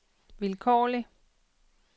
vilkårlig